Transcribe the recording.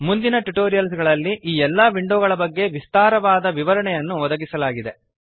ಮುಂದಿನ ಟ್ಯುಟೋರಿಯಲ್ಸ್ ಗಳಲ್ಲಿ ಈ ಎಲ್ಲ ವಿಂಡೋಗಳ ಬಗ್ಗೆ ವಿಸ್ತಾರವಾದ ವಿವರಣೆಯನ್ನು ಒದಗಿಸಲಾಗಿದೆ